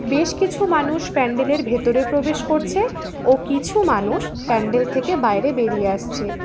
বেশকিছু মানুষ প্যান্ডেলের ভেতরে প্রবেশ করছে ও কিছু মানুষ প্যান্ডেল থেকে বাইরে বেরিয়ে আসছে।